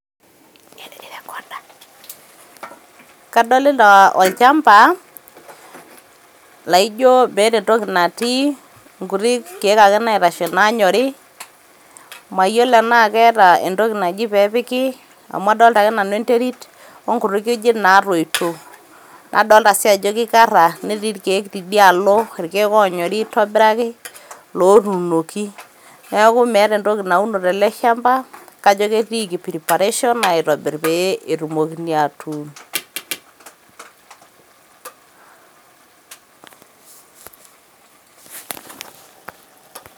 Kadolita olchamba, laijo meeta entoki natii, inkuti keek ake naitashe nanyori, mayiolo enaa keeta entoki naji pepiki, amu adolta ake nanu enterit, onkuti kujit natoito. Na dolta si ajo kikarra, netii irkeek tidialo, irkeek onyori aitobiraki, lotunoki. Neeku meeta entoki nauno teleshamba, kajo ketiiki preparation aitobir pe etumokini atuun.